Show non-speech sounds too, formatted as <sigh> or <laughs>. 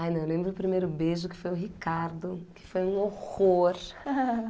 Ai, não, eu lembro o primeiro beijo que foi o Ricardo, que foi um horror. <laughs>